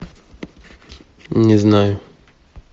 не знаю